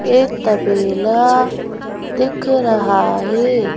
एक तबेला दिख रहा है।